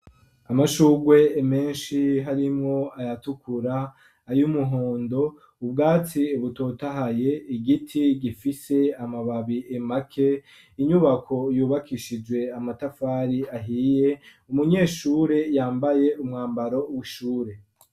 Amashugwe menshi harimwo ayatukura, ayumuhondo,, ubwaci butotahaye ,igiti gifise amababi make, inyubako yubakishijwe amatafari ahiye, umunyeshure yambaye umwambaro w'ishure.